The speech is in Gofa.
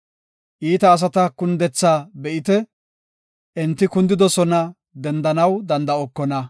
Iita asata kundethaa be7ite; enti kundidosona; dendanaw danda7okona.